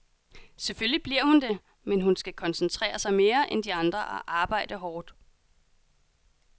Selvfølgelig bliver hun det, men hun skal koncentrere sig mere end de andre og arbejde hårdt.